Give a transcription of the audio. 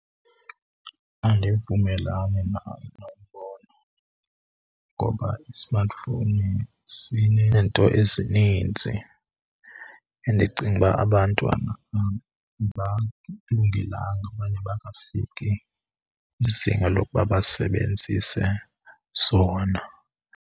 Andivumelani nalo mbono ngoba i-smartphone sineento ezininzi endicinga uba abantwana abakulungelanga okanye abakafiki kwizinga lokuba basebenzise sona.